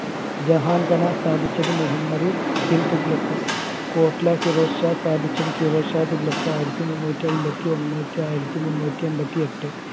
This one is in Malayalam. ജഹാൻപന സ്ഥാപിച്ചത് മുഹമ്മദ് ബിൻ തുഗ്ലക് ഫിറോസ് ഷാഹ് സ്ഥാപിച്ചത് ഫിറോസ് ഷാഹ് തുഗ്ലക് ആയിരത്തി മുന്നൂറ്റി അയ്ബത്തി ഒന്ന് to ആയിരത്തി മുന്നൂറ്റി എമ്പതി എട്ട്